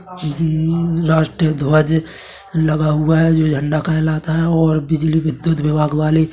who हु राष्ट्रीय ध्वज लगा हुआ है जो झंडा कहलाता है और बिजली विद्युत विभाग वाले --